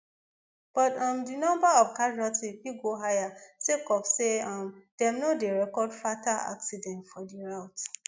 but um di number of casualty fit go higher sake of say um dem no dey record fatal accident for di route